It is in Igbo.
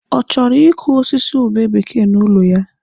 Ọ chọrọ ịkụ osisi ube bekee n'ụlọ ya?